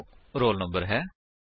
ਜੋ roll number ਹੈ